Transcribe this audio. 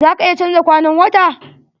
Za ka iya canja kwanan wta?